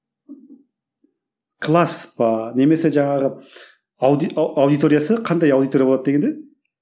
класс па немесе жаңағы аудиториясы қандай аудитория болады дегенде